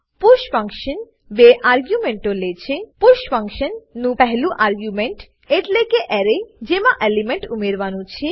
push function બે આર્ગ્યુમેન્ટો લે છે પુષ ફંકશન નું પહેલું આર્ગ્યુમેન્ટ એટલેકે એરે જેમાં એલિમેન્ટ ઉમેરવાનું છે